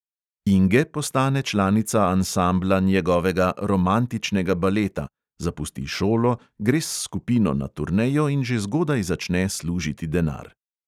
Inge postane članica ansambla njegovega romantičnega baleta, zapusti šolo, gre s skupino na turnejo in že zgodaj začne služiti denar.